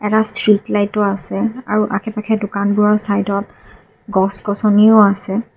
এটা ষ্ট্ৰীট লাইটো আছে আৰু আশে পাশে দোকানবোৰৰ চাইডত গছ গছনিও আছে।